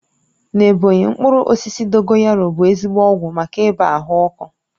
Na Ebọnyi, mkpụrụ osisi dogoyaru bụ ezigbo ọgwụ maka ibàa ahụ ọkụ